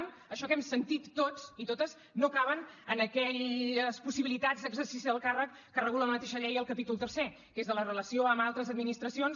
això que hem sentit tots i totes no caben en aquelles possibilitats d’exercici del càrrec que regula la mateixa llei al capítol tercer que és de la relació amb altres administracions